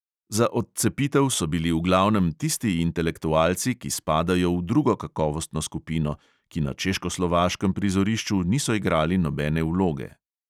Za odcepitev so bili v glavnem tisti intelektualci, ki spadajo v drugo kakovostno skupino, ki na češkoslovaškem prizorišču niso igrali nobene vloge.